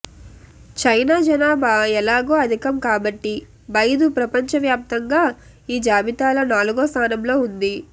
China జనాభా ఎలాగో అధికం కాబట్టి బైదు ప్రపంచవ్యాప్తంగా ఈ జాబితాలో నాలుగో స్థానంలో ఉంది